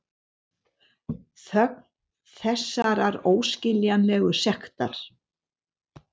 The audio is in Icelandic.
Þögn þessarar óskiljanlegu sektar.